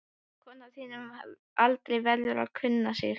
Kona á þínum aldri verður að kunna sig.